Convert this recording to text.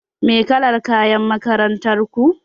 Me kalar kayan makarantar ku?